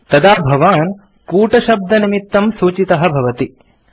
तदा भवान् कूटशब्दनिमित्तं सूचितः भवति